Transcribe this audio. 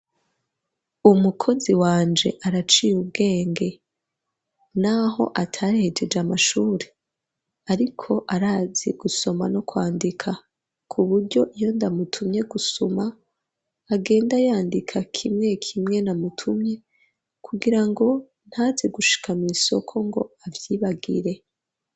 Umukozi wanje araciye ubwenge, n'aho atahejeje amashuri, ariko arazi gusoma no kwandika ,k'uburyo iyo ndamutumye gusuma, agenda yandika kimwe kimwe namutumye, kugira ngo ntaze gushika, mw'isoko ngo avyibagire.